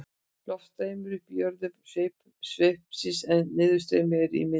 loft streymir upp í jöðrum sveipsins en niðurstreymi er í miðjunni